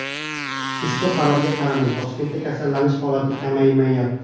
Ushbu qarorga qaramay, Toshkentda kasallanish holatlari kamaymayapti.